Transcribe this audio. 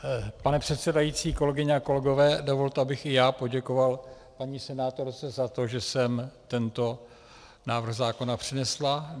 Pane předsedající, kolegyně a kolegové, dovolte, abych i já poděkoval paní senátorce za to, že sem tento návrh zákona přinesla.